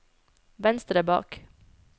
venstre bak